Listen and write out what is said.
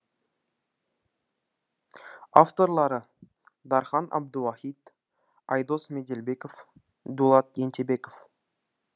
авторлары дархан әбдуахит айдос меделбеков дулат ентебеков